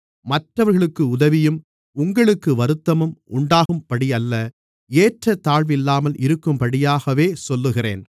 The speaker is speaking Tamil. மற்றவர்களுக்கு உதவியும் உங்களுக்கு வருத்தமும் உண்டாகும்படியல்ல ஏற்றத்தாழ்வில்லாமல் இருக்கும்படியாகவே சொல்லுகிறேன்